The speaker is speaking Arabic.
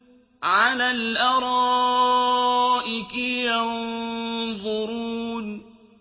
عَلَى الْأَرَائِكِ يَنظُرُونَ